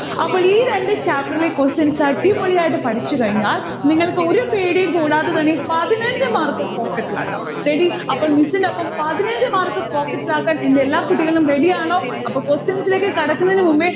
അപ്പോൾ ഈ രണ്ട് chapter ലെ questions അടിപൊളിയായിട്ട് പഠിച്ചുകഴിഞ്ഞാൽ നിങ്ങൾക് ഒരു പേടിയും കൂടാതെതന്നെ പതിനഞ്ച് mark pocket ഇൽ ആക്കം ready അപ്പൊ miss ന്റൊപ്പം പതിനഞ്ച് mark pocket ഇലാക്കാൻ എന്റെ എല്ലാ കുട്ടികളും ready ആണോ. അപ്പൊ questions ലേക്ക് കടക്കുന്നതിനുമുൻപെ